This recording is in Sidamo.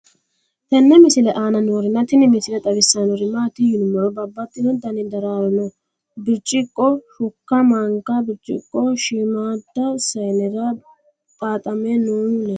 tenne misile aana noorina tini misile xawissannori maati yinummoro babaxxinno Dani daraaro no. biricciqo, shukka, manka, biricciqo, shiimmada sayiinnera xaaxxame noohu leelanno.